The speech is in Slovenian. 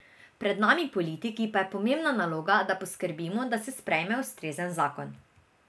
Pred nami politiki pa je pomembna naloga, da poskrbimo, da se sprejme ustrezen zakon.